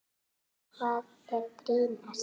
Hvað er brýnast?